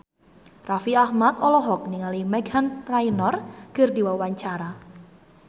Raffi Ahmad olohok ningali Meghan Trainor keur diwawancara